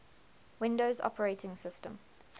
windows operating systems